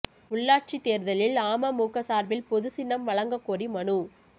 உள்ளாட்சி தேர்தலில் அமமுக சார்பில் பொது சின்னம் வழங்க கோரி மனு